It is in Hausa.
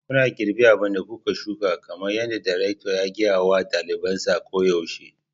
Kuna girbi abin da kuka shuka kamar yadda darekta ya gaya wa ɗalibansa koyaushe.